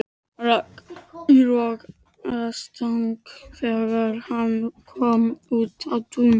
Rak í rogastans þegar hann kom út á Tún.